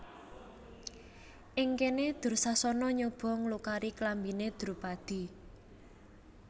Ing kene Dursasana nyoba nglukari klambine Drupadi